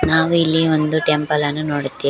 ಆಮೇಲೆ ಒಂದು ಟೆಂಪಲ್ ಅನ್ನು ನೋಡುತ್ತೇ--